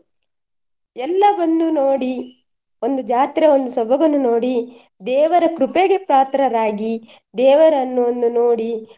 ಎಲ್ಲವನ್ನು ನೋಡಿ ಒಂದು ಜಾತ್ರೆ ಒಂದು ಸೊಬಗನ್ನು ನೋಡಿ ದೇವರ ಕೃಪೆಗೆ ಪಾತ್ರರಾಗಿ ದೇವರನ್ನು ಒಂದು ನೋಡಿ.